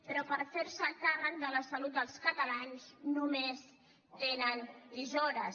però per fer se càrrec de la salut dels catalans només tenen tisores